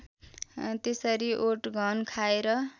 त्यसरी ओटघन खाएर